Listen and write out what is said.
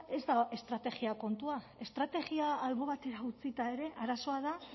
ez da estrategia kontua estrategia albo batera utzita ere arazoa da